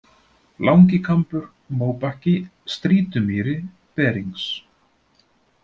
Langikambur, Móbakki, Strýtumýri, Berings